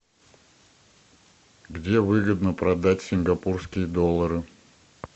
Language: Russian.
где выгодно продать сингапурские доллары